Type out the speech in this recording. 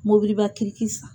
Mobiliba kiriki san